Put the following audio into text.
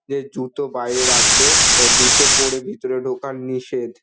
যে জুতো বাইরে রাখবে অ্যা জুতো পরে ভিতরে ঢোকা নিষেধ ।